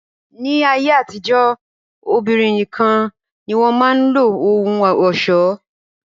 Ni ayé àtijọ́, obìnrin nìkan ni wọn máa ń lo ohun ọ̀ṣọ́